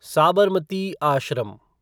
Sabarmati Ashram